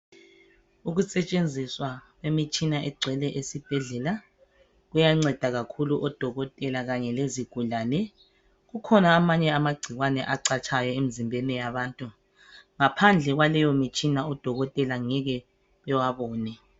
Ukusetshenziswa kwemitshina egcwele esibhedlela kuyanceda kakhulu odokotela akhona amanye amagcikwane acatshayo emzimbeni yabantu ngaphandle kwaleyo mitshina odokotela ngeke bewabone.